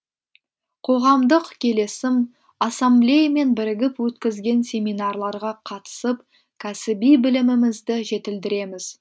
қоғамдық келісім ассаблеямен бірігіп өткізген семинарларға қатысып кәсіби білімімізді жетілдіреміз